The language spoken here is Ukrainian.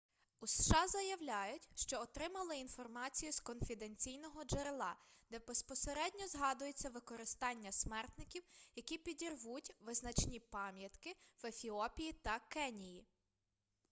у сша заявляють що отримали інформацію з конфіденційного джерела де безпосередньо згадується використання смертників які підірвуть визначні пам'ятки в ефіопії та кенії